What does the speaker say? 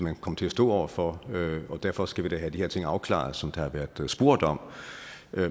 kan komme til at stå over for og derfor skal vi da have de her ting afklaret som der har været spurgt om